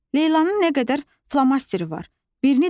Leylanın nə qədər flomasteri var.